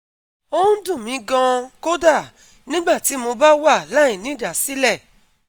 Ó ń dun mi gan-an kódà nígbà tí mo bá wà láìnídásílẹ̀